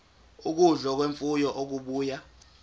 ukudla kwemfuyo okubuya